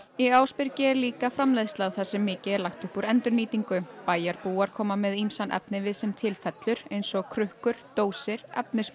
í Ásbyrgi er líka framleiðsla þar sem mikið er lagt upp úr endurnýtingu bæjarbúar koma með ýmsan efnivið sem til fellur eins og krukkur dósir